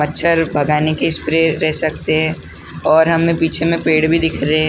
मच्छर भगाने की स्प्रे ले सकते हैं और हम पीछे में पेड़ भी दिख रहे हैं।